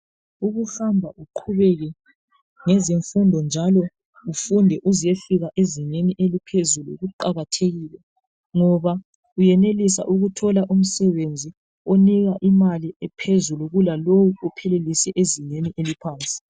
Ukuhamba uqhubeke ngezimfundo njalo ufunde uze uyefika ezingeni eliphezulu kuqakathekile ngoba uyenelisa ukuthola umsebenzi onika imali ephezulu kulalowu ophelelise ezingeni eliphansi.